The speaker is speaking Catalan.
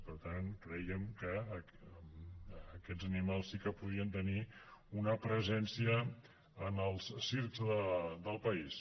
per tant crèiem que aquests animals sí que podien tenir una presència en els circs del país